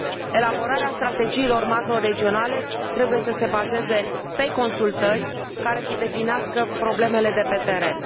Elaborarea strategiilor macroregionale trebuie să se bazeze pe consultări, care să definească problemele de pe teren.